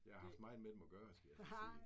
Jeg har haft med dem at gøre, skal jeg hilse og sige